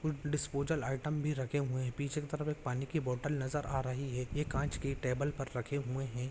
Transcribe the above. Disposal item भी रखे हुए है पीछे की तरफ एक पानी की बोतल नजर आ रही है ये काँच के टेबल पर रखे हुए है।